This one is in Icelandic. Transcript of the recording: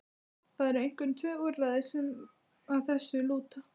Það eru einkum tvö úrræði sem að þessu lúta.